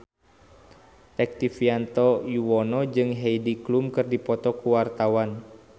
Rektivianto Yoewono jeung Heidi Klum keur dipoto ku wartawan